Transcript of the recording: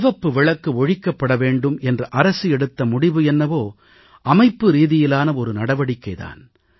சிவப்பு விளக்கு ஒழிக்கப்பட வேண்டும் என்று அரசு எடுத்த முடிவு என்னவோ அமைப்புரீதியிலான ஒரு நடவடிக்கை தான்